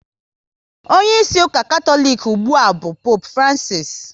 Onyeisi ụka Katọlik ugbua bụ Poopu Francisi